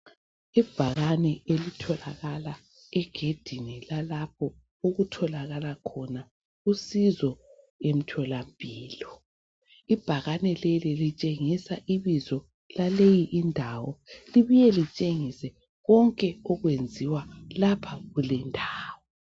Ibhakane elitholaka egedini lalapho okutholakala khona usizo emtholampilo. Ibhakane leli litshengisa ibizo laleyi indawo libuye litshengise konke okwenziwa lapha kulendawo.